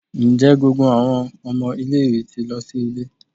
Njẹ gbogbo awọn ọmọ ile-iwe ti lọ si ile?